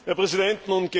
Herr Präsident!